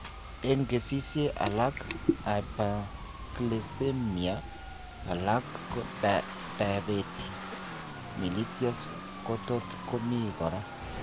Eng' kesisiek alak hyperglycemia alako diabetes mellitus kotot komii kora